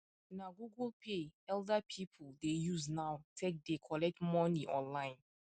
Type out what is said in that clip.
na google pay elder people dey use now take dey collect money online